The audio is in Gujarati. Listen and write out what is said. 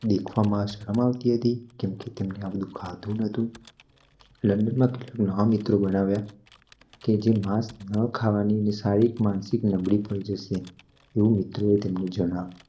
દેખવામાં શરમ આવતી હતી કેમકે તેમને આ બધું ફાવતું ન્હોતું લન્ડન માં તેમને નવા મિત્રો બનાવ્યા જે માસ ન ખાવાની માનસિક નબળી પડી જશે એવું મિત્રે તેમને જણાવ્યુ